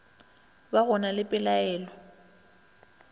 ba go na le palelo